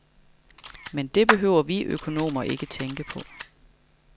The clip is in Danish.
Men det behøver vi økonomer ikke tænke på.